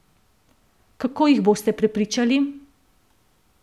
Kako jih boste prepričali?